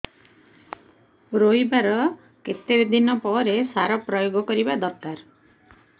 ରୋଈବା ର କେତେ ଦିନ ପରେ ସାର ପ୍ରୋୟାଗ କରିବା ଦରକାର